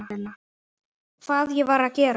Hvað ég var að gera?